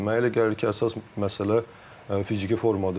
Mənə elə gəlir ki, əsas məsələ fiziki formadır.